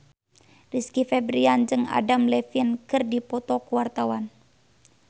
Rizky Febian jeung Adam Levine keur dipoto ku wartawan